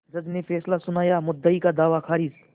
जज ने फैसला सुनायामुद्दई का दावा खारिज